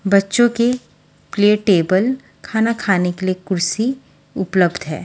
बच्चों के लिए टेबल खाना खाने के लिए कुर्सी उपलब्ध है।